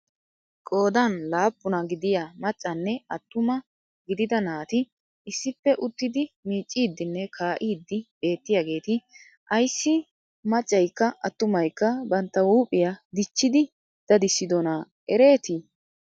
Qoodan laappuna giddiyaa maccanne attumma gididda naati issippe uttidi miicidinne kaa'iddi beettiyagetti ayssi maacakka attumaykka bantta huuphiyaa dichchidi dadissidonna eretti?